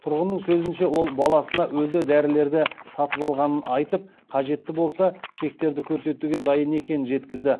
тұрғынның сөзінше ол баласына өзі дәрілерді сатып алғанын айтып қажетті болса чектерді көрсетуге дайын екенін жеткізді